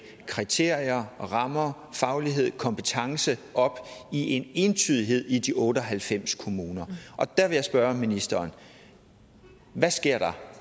kriterier rammer faglighed og kompetence op i entydighed i de otte og halvfems kommuner der vil jeg spørge ministeren hvad sker der